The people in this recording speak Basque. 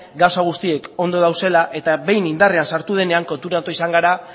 gauza guztiak ondo daudela eta behin indarrean sartu denean konturatu izan gara